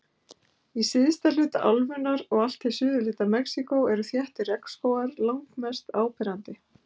Í syðsta hluta álfunnar og allt til suðurhluta Mexíkó eru þéttir regnskógar langmest áberandi.